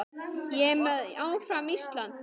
Ég er með, áfram Ísland.